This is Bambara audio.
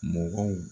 Mɔgɔw